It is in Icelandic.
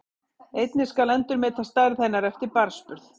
Einnig skal endurmeta stærð hennar eftir barnsburð.